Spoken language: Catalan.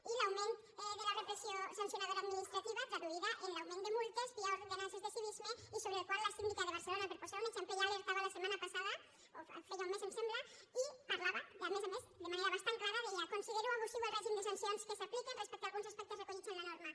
i l’augment de la repressió sancionadora administrativa traduïda en l’augment de multes via ordenances de civisme i sobre el qual la síndica de barcelona per posar un exemple ja alertava la setmana passada o feia un mes em sembla i parlava a més a més de manera bastant clara deia considero abusiu el règim de sancions que s’apliquen respecte alguns aspectes recollits en la norma